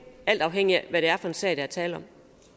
alt afhængigt af hvad det er for en sag der er tale